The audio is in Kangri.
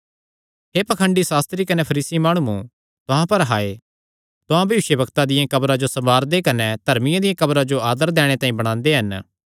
हे पाखंडी सास्त्री कने फरीसी माणुओ तुहां पर हाय तुहां भविष्यवक्तां दियां कब्रां जो सवारंदे कने धर्मियां दियां कब्रां जो तिन्हां दा आदर दैणे तांई बणांदे हन